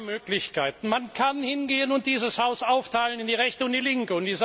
Man hat zwei Möglichkeiten Man kann hingehen und dieses Haus aufteilen in die Rechte und die Linke.